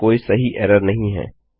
यहाँ पर कोई सही एरर नहीं है